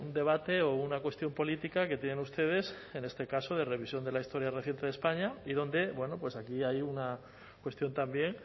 debate o una cuestión política que tienen ustedes en este caso de revisión de la historia reciente de españa y donde bueno pues aquí hay una cuestión también